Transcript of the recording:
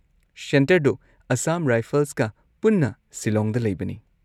ꯁꯦꯟꯇꯔꯗꯣ ꯑꯁꯥꯝ ꯔꯥꯏꯐꯜꯁꯀ ꯄꯨꯟꯅ ꯁꯤꯂꯣꯡꯗ ꯂꯩꯕꯅꯤ꯫